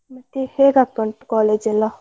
ಮತ್ತೆ ಹೇಗ್ ಆಗ್ತಾ ಉಂಟು, college ಎಲ್ಲ?